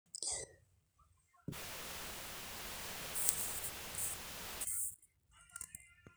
ore enkiremore naa keyau ntokitin kumok ngejuko enkop anaa mashininin sapukin